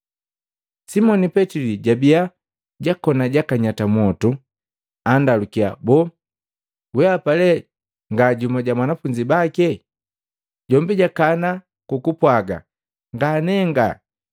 Simoni Petili jabiya jakoni jakanyata mwotu, andalukiya, “Boo wehapa le nga jumu ja banafunzi bake?” Jombi jakana kukupwaaga, “Nganenga!”